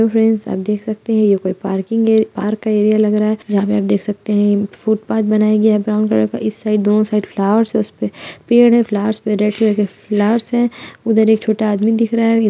Hello friends आप देख सकते हैं यह कोई पार्किंग पार्क एरिया लग रहा है जहाँ पे आप देख सकते हैं फुटपाथ बनाया गया है ब्राउन कलर का इस साइड दोनों साइड फ्लावर्स है उसपे पेड़ हैं फ्लावर्स पे रेड कलर के फ्लावर्स हैं उधर एक छोटा आदमी दिख रहा है।